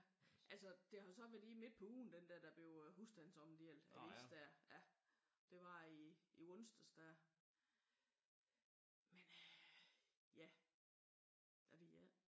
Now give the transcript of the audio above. Altså det har jo så været lige midt på ugen den der der blev husstandsomdelt avis der. Det var i onsdags der men øh ja jeg ved det ikke